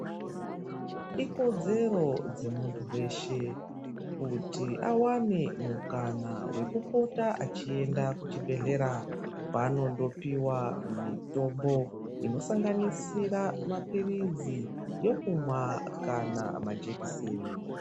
Ikodzero yemuntu weshe kuti awane mukana wekupota achienda kuchibhedhleya kwanomdopuwa mutombo inosanganisira mapirizi yekumwa kana majikiseni.